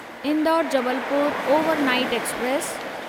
Indore Jabalpur overnight express